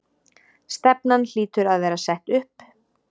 Stefnan hlýtur að vera sett upp?